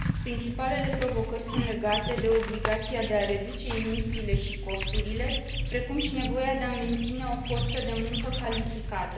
Principalele provocări sunt legate de obligația de a reduce emisiile și costurile, precum și de nevoia de a menține o forță de muncă calificată.